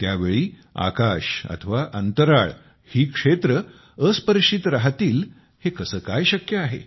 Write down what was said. त्यावेळी आकाश अथवा अंतराळ ही क्षेत्रे अस्पर्शित राहतील हे कसे काय शक्य आहे